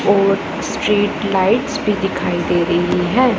और street lights भी दिखाई दे रही हैं।